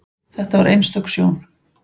Þetta var einstök sjón.